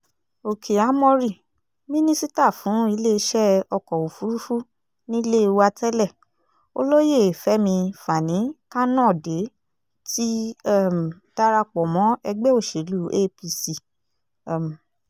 òkè ámórì mínísítà fún iléeṣẹ́ ọkọ̀ òfurufú nílé wa tẹ́lẹ̀ olóyè fẹmi fani-kanode ti um darapọ̀ mọ́ ẹgbẹ́ òsèlú apc um